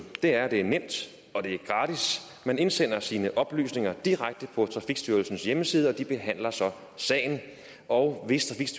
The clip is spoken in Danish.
er at det er nemt og det er gratis man indsender sine oplysninger direkte på trafikstyrelsens hjemmeside og de behandler så sagen og hvis